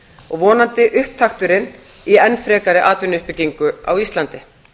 og vonandi upptakturinn í enn frekari atvinnuuppbyggingu á íslandi